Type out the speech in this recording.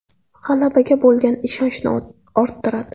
G‘alabaga bo‘lgan ishonchni orttiradi.